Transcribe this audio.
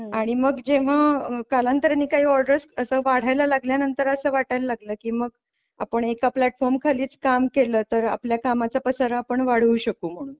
आणि मग जेव्हा कालांतराने काही ऑर्डर्स असं वाढायला लागल्यानंतर असं वाटायला लागलं की मग आपण एका प्लॅटफॉर्म खालीच काम केलं तर आपल्या कामाचा पसारा पण वाढवू शकू म्हणून.